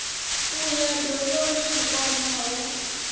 u ya dovhoni vhukoma ho